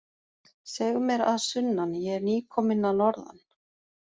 Seg mér að sunnan, ég er nýkominn að norðan.